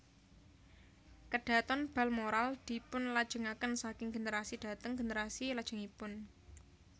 KadhatonBalmoral dipunlajengaken saking generasi dhateng generasi lajengipun